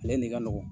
Ale ni ka nɔgɔn